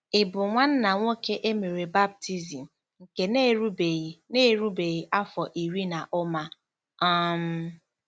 Ị̀ bụ nwanna nwoke e mere baptizim nke na-erubeghị na-erubeghị afọ iri na ụma? um